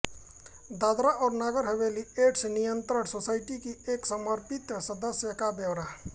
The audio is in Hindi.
दादरा और नगर हवेली एड्स नियंत्रण सोसाइटी की एक समर्पित सदस्य का ब्यौरा